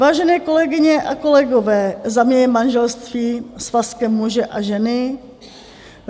Vážené kolegyně a kolegové, za mě je manželství svazkem muže a ženy.